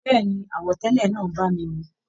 Béèni, àwọ̀ tẹlẹ náà bá mi mu.